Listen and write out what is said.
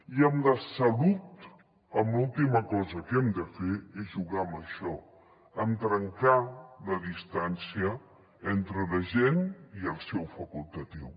i en la salut l’última cosa que hem de fer és jugar amb això amb trencar la distància entre la gent i el seu facultatiu